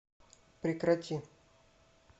прекрати